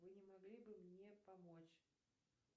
вы не могли бы мне помочь